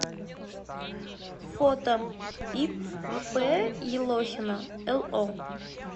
фото ип елохина ло